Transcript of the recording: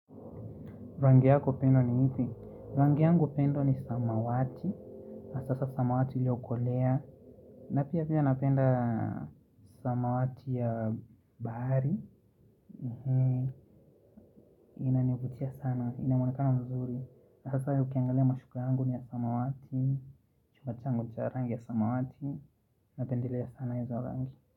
Rangi yako pendwa ni ipi? Rangi yangu pendwa ni samawati. Hasaa samawati ilio kolea. Na pia pia napenda samawati ya bahari. Inanivutia sana. Inamuonekano mzuri. Hasa ukiangalia mashuka yangu ni ya samawati. Chumba changu ni cha rangi ya samawati. Napendelea sana izo rangi.